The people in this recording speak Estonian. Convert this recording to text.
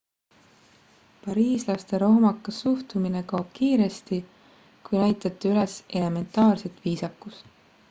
pariislaste rohmakas suhtumine kaob kiiresti kui näitate üles elementaarset viisakust